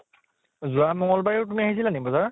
যোৱা মঙ্গল বাৰে ও তুমি আহিছিলা নেকি বাজাৰ ?